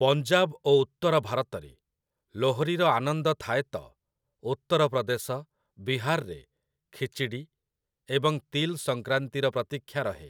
ପଞ୍ଜାବ ଓ ଉତ୍ତର ଭାରତରେ ଲୋହ୍‌ରୀର ଆନନ୍ଦ ଥାଏ ତ ଉତ୍ତର ପ୍ରଦେଶ, ବିହାରରେ ଖିଚଡ଼ୀ ଏବଂ ତିଲ୍ ସଂକ୍ରାନ୍ତିର ପ୍ରତୀକ୍ଷା ରହେ ।